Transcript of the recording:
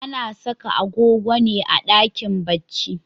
Ana saka agogo ne a dakin bacci.